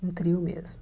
Um trio mesmo.